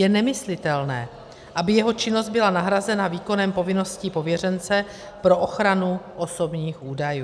Je nemyslitelné, aby jeho činnost byla nahrazena výkonem povinností pověřence pro ochranu osobních údajů.